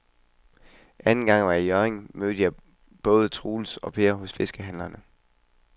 Anden gang jeg var i Hjørring, mødte jeg både Troels og Per hos fiskehandlerne.